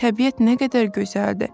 Təbiət nə qədər gözəldir!